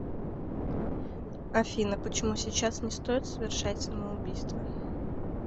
афина почему сейчас не стоит совершать самоубийство